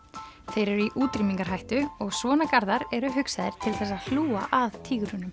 þeir eru í útrýmingarhættu og svona eru hugsaðir til þess að hlúa að